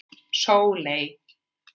Sóley